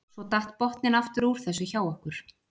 Svo datt botninn aftur úr þessu hjá okkur.